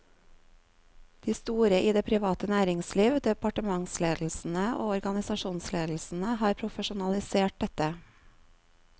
De store i det private næringsliv, departementsledelsene og organisasjonsledelsene har profesjonalisert dette.